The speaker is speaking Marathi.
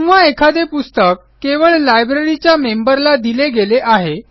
किंवा एखादे पुस्तक केवळ लायब्ररीच्या मेंबरला दिले गेले आहे